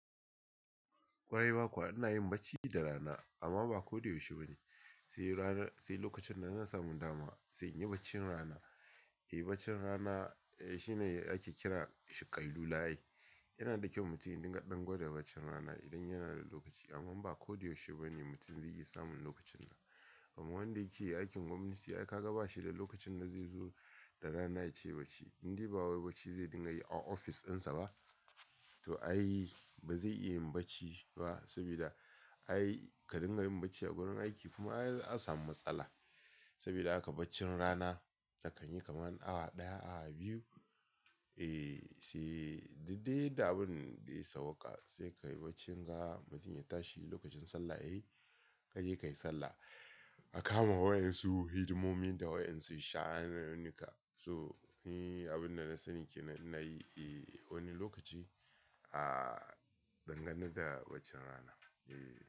Kwarai ma kuwa, ina yin bacci da rana amma ba ko da yaushe ba ne. Sai rana-- sai lokacin da na samu dama sai in yi baccin rana. E bacci rana shi ne ake kira shi ƙa'ilu layi. Yana da kyau mutum ya dinga ɗan gwada baccin rana idan yana da lokaci amma ba ko da yaushe ba ne mutum zai iya samun lokacin nan. Kuma wanda yake aikin gwamnati, ai ka ga bashi da lokacin da zai zo da rana ya ce bacci. Indai ba wani bacci zai dinga yi a ofis ɗinsa ba. To ai ba zai iya yin bacci ba saboda ai ka dinga yin bacci a wurin aiki kuma ai an samu matsala. Saboda haka bacci rana akan yi kamar awa ɗaya, awa biyu. E sai duk dai yanda abin da ya sauwaƙa sai ka yi bacci. Mutum ya tashi in lokacin sallah yayi ka je ka yi sallah. A kama wayar su hidimomi da wa en su sha'anin nu ka. So, ni abin da na sani kenan ina yi e wani lokaci a dangane da baccin rana, e.